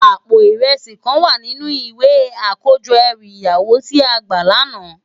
Àpó irèsi kán wá ninú iwé àkójò èrú iyàwó ti á gbá làná